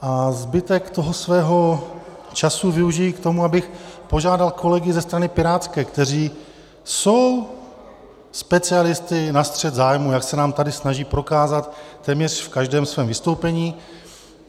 A zbytek toho svého času využiji k tomu, abych požádal kolegy ze strany pirátské, kteří jsou specialisty na střet zájmů, jak se nám tady snaží prokázat téměř v každém svém vystoupení.